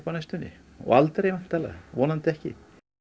næstunni og aldrei vonandi ekki